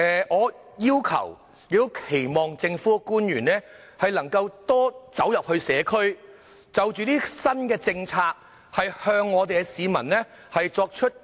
我期望政府官員能夠多走入社區，向市民介紹這些新政策。